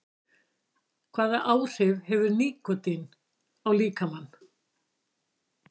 Hvaða áhrif hefur nikótín á líkamann?